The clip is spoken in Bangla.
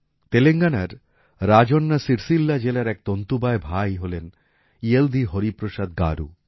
তেলেঙ্গানার রাজন্না সির্সিল্লা জেলার এক তন্তুবায় ভাই হলেন ইয়েলধী হরিপ্রসাদ গারু